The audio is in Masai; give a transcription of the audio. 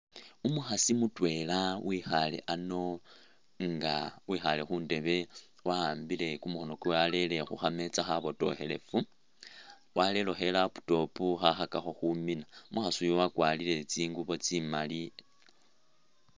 Umukhasi mutwela wikhale ano inga wikhale khundebe wahambile kumukhono kwe warele khukhameetsa khabotokhelefu warelekhi ilaptop khakhakakho khumina umukhasu yu wakwarile tsingubo tsimali.